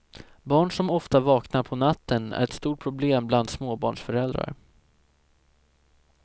Barn som ofta vaknar på natten är ett stort problem bland småbarnsföräldrar.